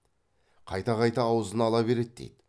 қайта қайта аузына ала береді дейді